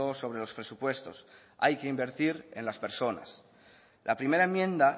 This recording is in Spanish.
sobre los presupuestos hay que invertir en las personas la primera enmienda